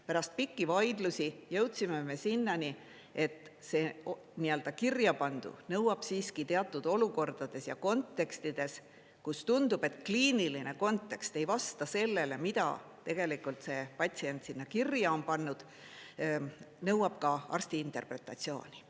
Pärast pikki vaidlusi jõudsime sinnani, et see kirjapandu nõuab teatud olukordades ja kontekstides, kus tundub, et kliiniline kontekst ei vasta sellele, mida tegelikult see patsient sinna kirja on pannud, nõuab ka arsti interpretatsiooni.